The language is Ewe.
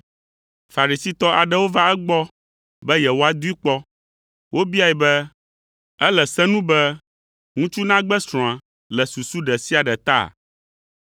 Farisitɔ aɖewo va egbɔ be yewoadoe kpɔ. Wobiae be, “Ele se nu be ŋutsu nagbe srɔ̃a le susu ɖe sia ɖe ta?”